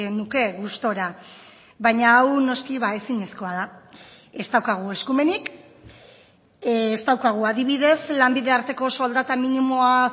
nuke gustura baina hau noski ezinezkoa da ez daukagu eskumenik ez daukagu adibidez lanbide arteko soldata minimoa